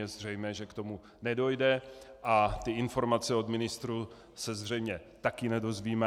Je zřejmé, že k tomu nedojde a ty informace od ministrů se zřejmě taky nedozvíme.